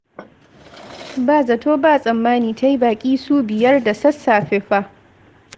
Ba zato ba tsammani ta yi baƙi su biyar da sassafe fa!